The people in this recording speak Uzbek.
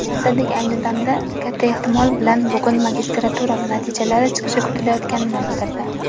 Vazirlik ayni damda (katta ehtimol bilan bugun) magistratura natijalari chiqishi kutilayotganini bildirdi.